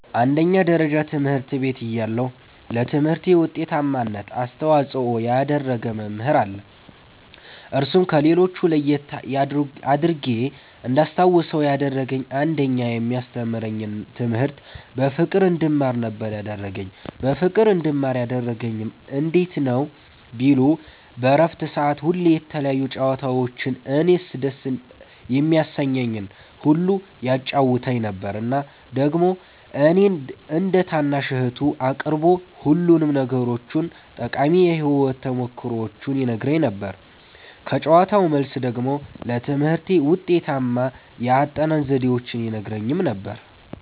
አዎ አንደኛ ደረጃ ትምህርት ቤት እያለሁ ለትምህርቴ ዉጤታማነት አስተዋፅኦ ያደረገ መምህር አለ እርሱም ከሌሎች ለየት አድርጌ እንዳስታዉሰዉ ያደረገኝ አንደኛ የሚያስተምረኝን ትምህርት በፍቅር እንድማር ነበረ ያደረገኝ በፍቅር እንድማር ያደረገኝም እንዴት ነዉ ቢሉ በረፍት ሰዓት ሁሌ የተለያዩ ጨዋታዎችን እኔን ደስ የሚያሰኘኝን ሁሉ ያጫዉተኝ ነበረ እና ደግሞ እኔን እንደ ታናሽ እህቱ አቅርቦ ሁሉንም ነገሮቹን ጠቃሚ የህይወት ተሞክሮዎቹን ይነግረኝ ነበረ ከጨዋታዉ መልስ ደግሞ ለትምህርቴ ውጤታማ የአጠናን ዘዴዎችን ይነግረኝም ነበረ።